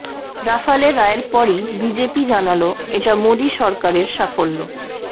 Rafale রায়ের পরই BJP জানাল এটা মোদী সরকারের সাফল্য